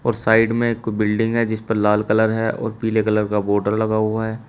और साइड में एक बिल्डिंग है जिस पर लाल कलर है और पीले कलर का बॉर्डर लगा हुआ है।